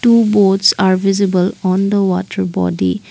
two boats are visible on the water boating.